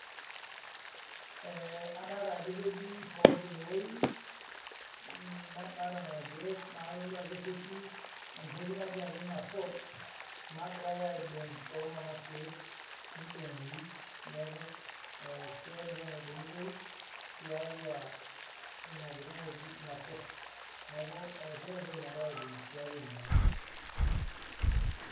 Adoolta ajo ketii poot ine wueji naadoolta inkeek naa ijo keenta entoki naidongitoi tiaatua ina ina moti pot